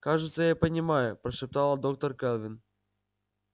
кажется я понимаю прошептала доктор кэлвин